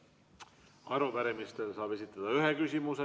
Arupärimistel saab esitada ühe küsimuse.